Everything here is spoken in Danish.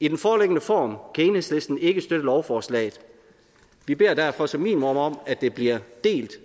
i den foreliggende form kan enhedslisten ikke støtte lovforslaget vi beder derfor som minimum om at det bliver delt